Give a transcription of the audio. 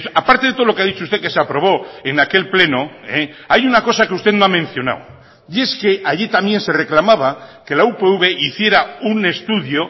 aparte de todo lo que ha dicho usted que se aprobó en aquel pleno hay una cosa que usted no ha mencionado y es que allí también se reclamaba que la upv hiciera un estudio